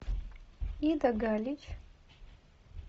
ида галич